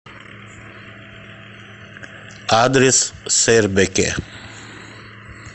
адрес сэрбэкэ